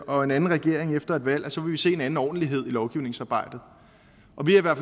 og en anden regering efter et valg så vil vi se en anden ordentlighed i lovgivningsarbejdet